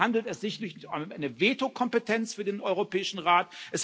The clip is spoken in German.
Deswegen handelt es sich nicht um eine Veto Kompetenz für den Europäischen Rat.